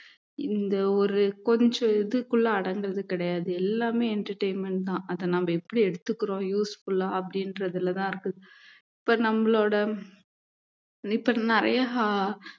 இந்த ஒரு கொஞ்சம் இதுக்குள்ள அடங்குறது கிடையாது எல்லாமே entertainment தான் அத நம்ம எப்படி எடுத்துக்கிறோம் useful ஆ அப்படின்றதிலதான் இருக்கு இப்ப நம்மளோட இப்ப நிறைய ஆஹ்